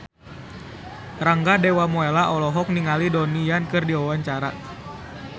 Rangga Dewamoela olohok ningali Donnie Yan keur diwawancara